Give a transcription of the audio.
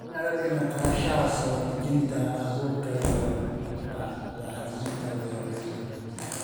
In la dhimo kharashka soo dejinta abuurka iyo bacriminta beeralayda.